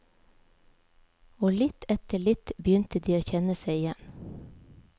Og litt etter litt begynte de å kjenne seg igjen.